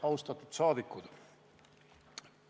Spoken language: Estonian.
Austatud rahvasaadikud!